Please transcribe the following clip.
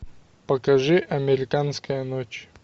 покажи американская ночь